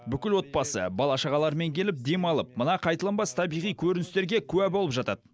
бүкіл отбасы бала шағаларымен келіп демалып мына қайталанбас табиғи көріністерге куә болып жатады